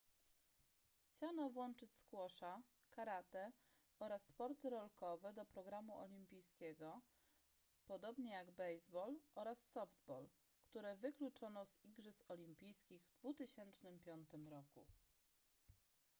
chciano włączyć squasha karate oraz sporty rolkowe do programu olimpijskiego podobnie jak baseball oraz softball które wykluczono z igrzysk olimpijskich w 2005 roku